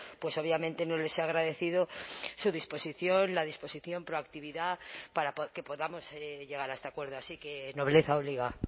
pues obviamente no les he agradecido su disposición la disposición proactividad para que podamos llegar a este acuerdo así que nobleza obliga